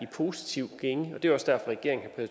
positiv gænge og det er også derfor regeringen har